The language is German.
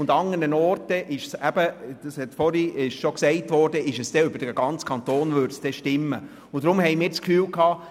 An anderen Orten würde es dann über den ganzen Kanton stimmen, wie bereits gesagt wurde.